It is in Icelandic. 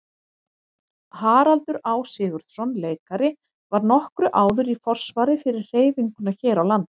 Haraldur Á. Sigurðsson leikari var nokkru áður í forsvari fyrir hreyfinguna hér á landi.